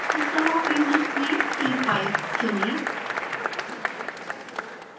system of units में c5 चुनें